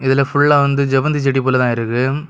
இது ஃபுல்லா வந்து செவ்வந்தி செடி போல தான் இருக்கு.